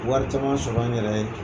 Wari caman sɔrɔ n yɛrɛ ye.